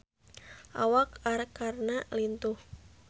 Awak Arkarna lintuh